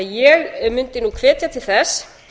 ég mundi hvetja til þess